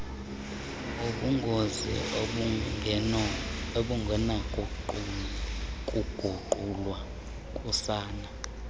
ubungozi obungenakuguqulwa kusana